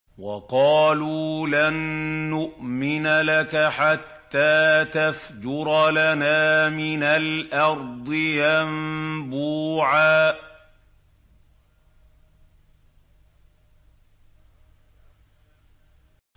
وَقَالُوا لَن نُّؤْمِنَ لَكَ حَتَّىٰ تَفْجُرَ لَنَا مِنَ الْأَرْضِ يَنبُوعًا